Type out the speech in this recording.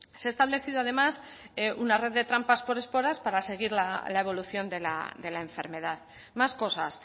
se ha establecido además una red de trampas por esporas para seguir la evolución de la enfermedad más cosas